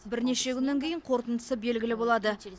бірнеше күннен кейін қорытындысы белгілі болады